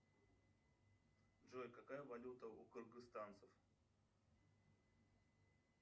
джой какая валюта у кыргызстанцев